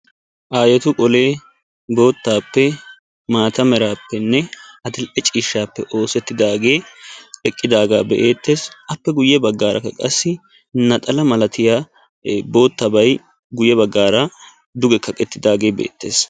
Aayeti bolee boottaappe maata meraappenne adil'ee ciishshaappe oosettidaagee eqqidaagaa be'eettees. Appe guyye baggaarakka qassi naxala milatiya ee boottabay guyye baggaara duge kaqettidaagee beettees.